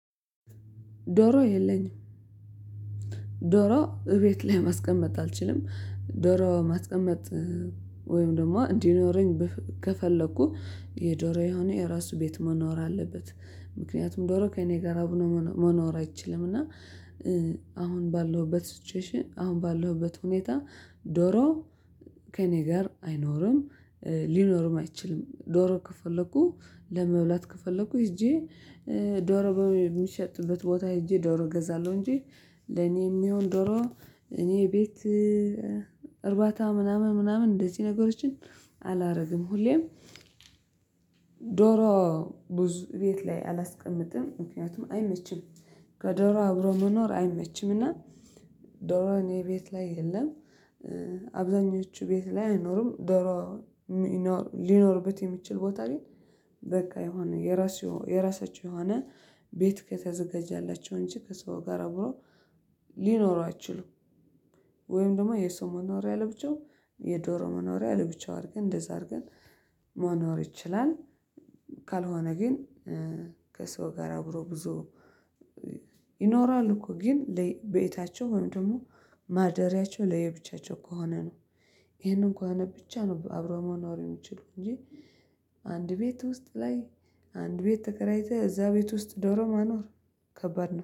ዶሮ የለኝም ዶሮ እቤት ላይ ማስቀመጥ አልችልም። ዶሮ ማስቀመጥ ወይም ደግሞ እንዲኖረኝ ከፈለኩ የዶሮ የሆነ የራሱ ቤት መኖር አለበት። ምክንያቱም ዶሮ ከእኔ ጋር አብኖ መኖር አይችልም። እና አሁን ባለሁበት ስቴችዌሽን አሁን ባለሁበት ሁኔታ ዶሮ ከእኔ ጋር አይኖርም ሊኖርም አይችልም። ዶሮ ከፈለኩ ለመብላት ከፈለኩ ሄጄ ዶሮ በሚሸጥበት ቦታ ሄጄ ዶሮ እገዛለሁ እንጂ። ለኔ የሚሆን ዶሮ እኔ ቤት እርባታ ምናምን ምናምን እንደዚህ ነገሮችን አላደርግም። ሁሌም ዶሮ ብዙ ቤት ላይ አላስቀምጥም ምክንያቱም አይመችም። ከዶሮ አብሮ መኖር አይመችምና። ዶሮውን እኔ ቤት ላይ የለም። አብዛኞቹ ቤት ላይ አይኖርም ዶሮ ሊኖርበት የሚችል ቦታ ላይ በቃ የሆነ የራሱ የራሳቸው የሆነ ቤት ከተዘጋጃላቸው እንጂ ከሰው ጋር አብሮ ሊኖሩ አይችልም። ወይም ደግሞ የሰው መኖሪያ ለብቻው የዶሮ መኖሪያ ለብቻው አድርገን እንደዛ አድርገን መኖር ይችላል። ካልሆነ ግን ከሰው ጋር አብሮ ብዙ ይኖራሉ እኮ ግን ለቤታቸው ወይም ደግሞ ማደሪያቸው ለየብቻቸው ከሆነ ነው። ይሄንን ከሆነ ብቻ ነው አብሮ መኖር የሚችሉ እንጂ። አንድ ቤት ውስጥ ላይ አንድ ቤት ተከራይተህ እዛ ቤት ውስጥ ዶሮ ማኖር ከባድ ነው